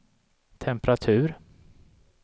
temperatur